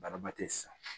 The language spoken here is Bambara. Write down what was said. Baraba tɛ sa